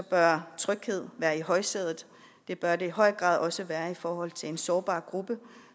bør tryghed være i højsædet det bør det i høj grad også være i forhold til en sårbar gruppe